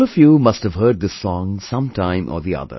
All of you must have heard this song sometime or the other